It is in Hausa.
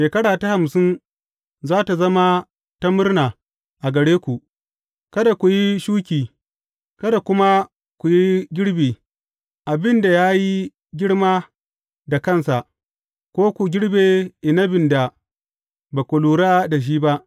Shekara ta hamsin za tă zama ta murna a gare ku; kada ku yi shuki, kada kuma ku yi girbi abin da ya yi girma da kansa, ko ku girbe inabin da ba ku lura da shi ba.